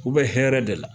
U bɛ hɛrɛ de la